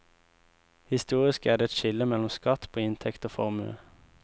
Historisk er det et skille mellom skatt på inntekt og formue.